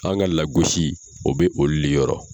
An ka lagosi o bɛ olu le yɔrɔ.